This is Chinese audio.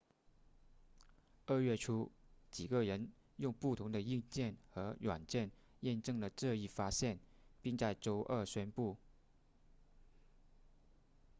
二月初几个人用不同的硬件和软件验证了这一发现并在周二宣布